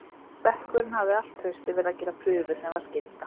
Bekkurinn hafði allt haustið verið að gera prufu sem var skylda.